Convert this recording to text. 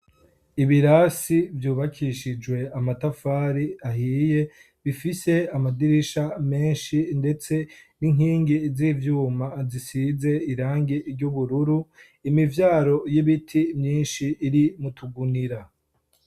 Ibirasi byubakishijwe amatafari ahiye bifise amadirisha menshi ndetse n'inkingi z'ivyuma zisize irangi ry'ubururu imivyaro y'ibiti myinshi iri mu tugunira.